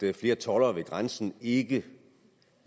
er flere toldere ved grænsen ikke